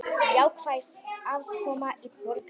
Jákvæð afkoma í Borgarbyggð